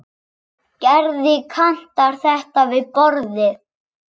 Gerði Kantar þetta við borðið?